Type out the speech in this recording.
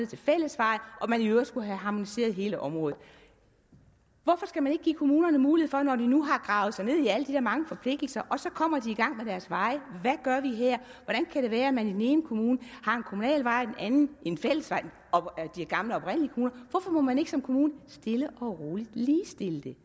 til fællesveje og man i øvrigt skulle have harmoniseret hele området hvorfor skal man ikke give kommunerne mulighed for når de nu har gravet sig ned i alle de her mange forpligtelser og så kommer i gang med deres veje at kan det være man i den ene kommune har en kommunal vej og i den anden en fællesvej i de gamle oprindelige kommuner hvorfor må man ikke som kommune stille og roligt ligestille det